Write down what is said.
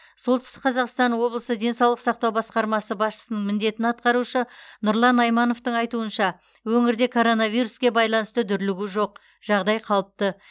солтүстік қазақстан облысы денсаулық сақтау басқармасы басшысының міндетін атқарушы нұрлан аймановтың айтуынша өңірде коронавируске байланысты дүрлігу жоқ жағдай қалыпты